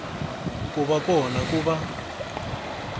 ku va kona ku va